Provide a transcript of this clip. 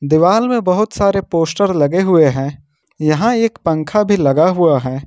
दिवाल में बहुत सारे पोस्टर लगे हुए है यहां एक पंखा भी लगा हुआ है।